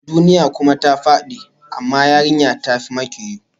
Duniya kuma ta fadi, amma yarinya ta fi makiyo